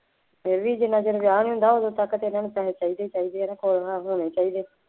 ਇਹ ਵੀ ਜਿੰਨਾ ਚਿਰ ਵਿਆਹ ਨਹੀਂ ਹੁੰਦਾ, ਉਦੋ ਤੱਕ ਤਾਂ ਇਹਨਾ ਨੂੰ ਪੈਸੇ ਚਾਹੀਦੇ ਚਾਹੀਦੇ ਹੈ ਨਾ ਹੋਰ ਨਾ ਹੁਣੇ ਚਾਹੀਦੇ